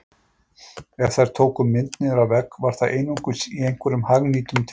Ef þær tóku mynd niður af vegg var það einungis í einhverjum hagnýtum tilgangi